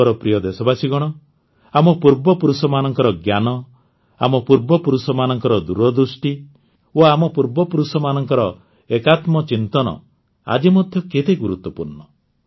ମୋର ପ୍ରିୟ ଦେଶବାସୀଗଣ ଆମ ପୂର୍ବପୁରୁଷମାନଙ୍କ ଜ୍ଞାନ ଆମ ପୂର୍ବପୁରୁଷମାନଙ୍କ ଦୂରଦୃଷ୍ଟି ଓ ଆମ ପୂର୍ବପୁରୁଷମାନଙ୍କ ଏକାତ୍ମଚିନ୍ତନ ଆଜି ମଧ୍ୟ କେତେ ଗୁରୁତ୍ୱପୂର୍ଣ୍ଣ